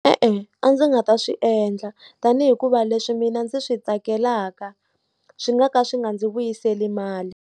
E-e a ndzi nga ta swi endla tanihi hikuva leswi mina ndzi swi tsakelaka swi nga ka swi nga ndzi vuyiseli mali.